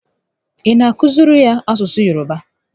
Ị na akụziri ya asụsụ Yoroba?